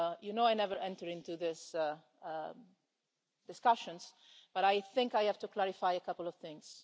You know I never enter into these discussions, but I think I have to clarify a couple of things.